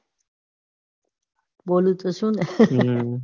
બોલું તો છું લ્યા